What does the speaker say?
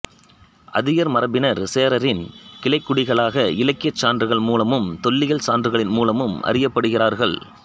அதியர் மரபினர் சேரரின் கிளைக்குடிகளாக இலக்கியச் சான்றுகள் மூலமும் தொல்லியல் சான்றுகளின் மூலமும் அறியப்படுகிறார்கள்